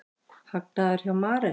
Hagnaður hjá Marel